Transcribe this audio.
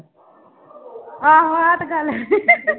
ਆਹੋ ਆਹ ਤਾਂ ਗੱਲ ਹੈ